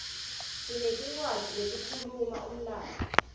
sinetincwadzi letikhuluma umlandvo